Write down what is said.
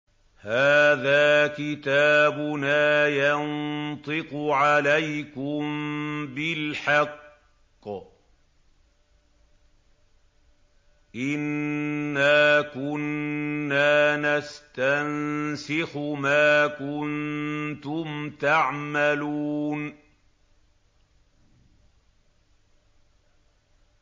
هَٰذَا كِتَابُنَا يَنطِقُ عَلَيْكُم بِالْحَقِّ ۚ إِنَّا كُنَّا نَسْتَنسِخُ مَا كُنتُمْ تَعْمَلُونَ